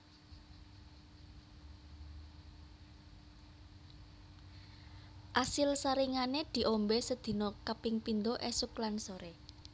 Asil saringane diombe sedina kaping pindho esuk lan sore